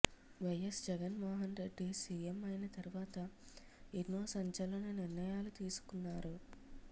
YS Jagan Mohan Reddy CM అయిన తర్వాత ఎన్నో సంచలన నిర్ణయాలు తీసుకున్నారు